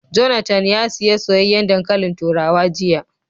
Jonathan ya siya soyayyen dankalin turawa jiya